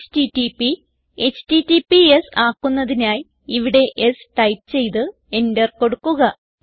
HTTP HTTPS ആക്കുന്നതിനായി ഇവിടെ s type ചെയ്ത് എന്റർ കൊടുക്കുക